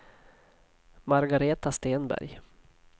Margaretha Stenberg